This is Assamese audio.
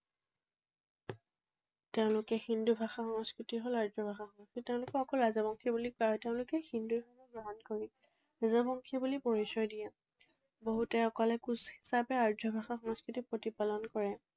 তেওঁলোকৰ হিন্দু ভাষা সংস্কৃতি হল আৰ্য ভাষা সংস্কৃতি। তেওঁলোকক অকল ৰাজবংশী বুলি কোৱা হয়। তেওঁলোকে হিন্দু ধৰ্ম গ্ৰহণ কৰি ৰাজবংশী বুলি পৰিচয় দিয়ে। বহুতে অকল কোচ হিচাপে আৰ্য ভাষা সংস্কৃতি প্ৰতিপালন কৰে।